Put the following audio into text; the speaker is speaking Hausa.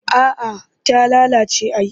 A'a ta lalace ai